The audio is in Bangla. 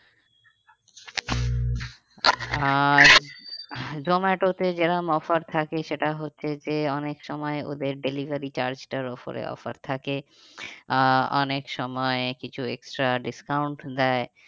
আহ জোমাটোতে যেরকম offer থাকে সেটা হচ্ছে যে অনেক সময় ওদের delivery charge টার ওপরে offer থাকে আহ অনেক সময় কিছু extra discount দেয়